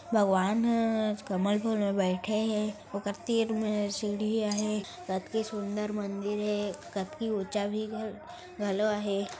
भगवान ह आज कमल फूल में बैठें है ओकर तीर में सीढ़ी आहे कतकी सुन्दर मंदिर है कतकी ऊँचा भी घ घलो आहे।